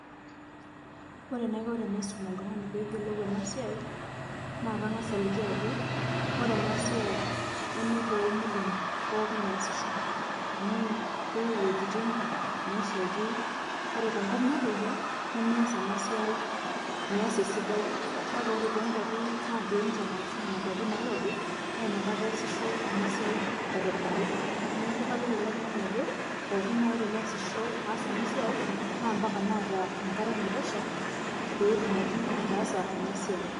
ore enaiko teanisum oltungani pee eyiolou ena siiai, naa kangas aliki aajo. ore eana siai, neme toomuruan pookin eesitae amu keyieu iwuejitin neeshaiki. ore te nkop natoyio, nemeesa ena siai ,meeasa esidai. kake ore too nkuapi natii enchan arashu nena kuapi nairobi, naa ina kata easisho ena siai aitobirari. neeku kaliki ele tungani ajo pookin naaji teneesisho. aas ena siia naa mpaka neeta enkare naitosha pee etumoki ataasa ena siai.